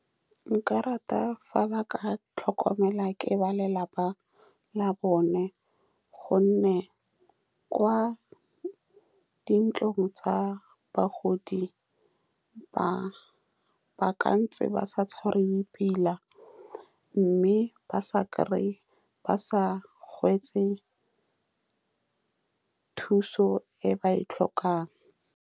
Nka rata fa ba ka tlhokomelwa ke ba lelapa la bone, ka gonne kwa dintlong tsa bagodi ba ka ntse ba sa tshwariwe pila, mme ba sa kry-e, ba sa hwetše thuso e ba e tlhokang.